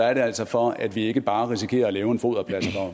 er det altså for at vi ikke bare risikerer at lave en foderplads